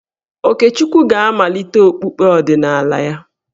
Okechukwu ga-amalite okpukpe ọdịnala ya.